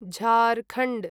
Jharkhand